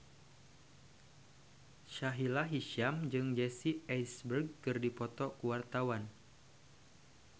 Sahila Hisyam jeung Jesse Eisenberg keur dipoto ku wartawan